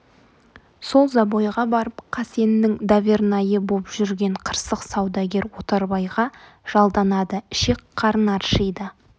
сол забойға барып қасеннің довернайы боп жүрген қырсық саудагер отарбайға жалданады ішек-қарын аршиды